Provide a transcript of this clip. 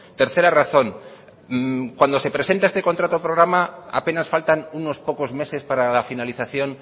tercera razón cuando se presenta este contrato programa apenas faltan unos pocos meses para la finalización